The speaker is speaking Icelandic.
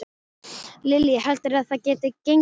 Lillý: Heldurðu að það geti gengið?